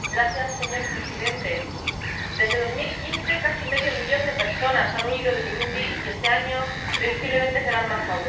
Señor presidente, desde 2015 casi medio millón de personas han huido de Burundi y este año, previsiblemente, serán más aún.